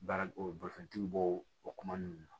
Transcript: Baara bolifɛntigi bɔ o kuma ninnu na